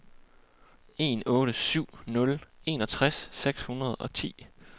en otte syv nul enogtres seks hundrede og ti